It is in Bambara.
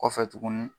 Kɔfɛ tuguni